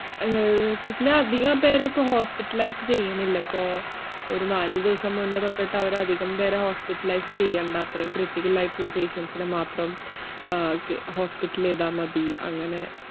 ഏർ പിന്ന അധികം പേരെ ഇപ്പൊ hospitalize ചെയ്യണില്ല ഇപ്പോ, ഒരു നാലു ദിവസം മുന്നേ തൊട്ടിട്ട് അവരധികം പേരെ hospitalize ചെയ്യണ്ടാ, അത്രേയും critical ആയിട്ടുള്ള patients നെ മാത്രം ആഹ് ഒക്കെ hospital ചെയ്താമതി അങ്ങനെ